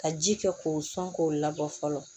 Ka ji kɛ k'o sɔn k'o labɔ fɔlɔ